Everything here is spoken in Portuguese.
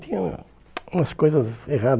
Tinha umas coisas